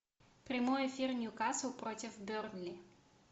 прямой эфир ньюкасл против бернли